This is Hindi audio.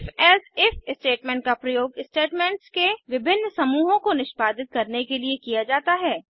IfElse इफ स्टेटमेंट का प्रयोग स्टेटमेंट्स के विभिन्न समूहों को निष्पादित करने के लिए किया जाता है